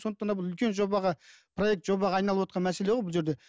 сондықтан да бұл үлкен жобаға проект жобаға айналывотқан мәселе ғой бұл жерде